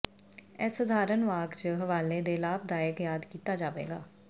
ਇਹ ਸਧਾਰਨ ਵਾਕ ਜ ਹਵਾਲੇ ਦੇ ਲਾਭਦਾਇਕ ਯਾਦ ਕੀਤਾ ਜਾਵੇਗਾ